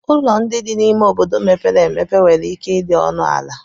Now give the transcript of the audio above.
Ụlọ ndị dị n'ime ime obodo mepere emepe nwere ike ịdị ọnụ ala